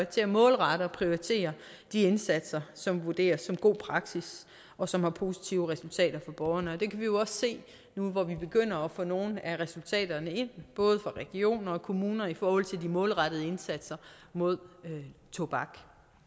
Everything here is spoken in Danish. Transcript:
til at målrette og prioritere de indsatser som vurderes som god praksis og som har positive resultater for borgerne det kan vi jo også se nu hvor vi begynder at få nogle af resultaterne ind både regioner og kommuner i forhold de målrettede indsatser mod tobak